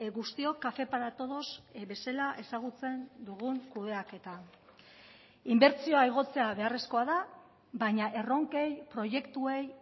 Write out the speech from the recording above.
guztiok café para todos bezala ezagutzen dugun kudeaketa inbertsioa igotzea beharrezkoa da baina erronkei proiektuei